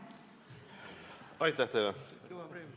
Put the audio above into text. Aitäh teile!